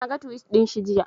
Naga tuwit ɗinshi jiya